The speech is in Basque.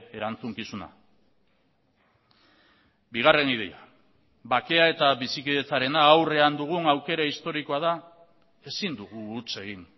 erantzukizuna bigarren ideia bakea eta bizikidetzarena aurrean dugun aukera historikoa da ezin dugu huts egin